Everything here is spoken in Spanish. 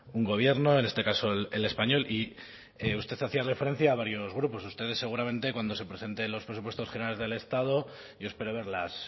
un gobierno en este caso el español y usted hacía referencia a varios grupos ustedes seguramente cuando se presenten los presupuestos generales del estado yo espero verlas